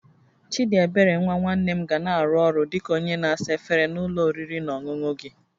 Chidiebere nwa nwanne m ga na-arụ ọrụ dị ka onye na-asa efere na ụlọ oriri na ọṅụṅụ gị